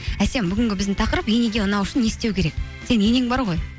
әсем бүгінгі біздің тақырып енеге ұнау үшін не істеу керек сенің енең бар ғой